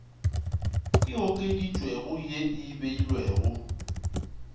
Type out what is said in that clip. e okeditšwego ye e beilwego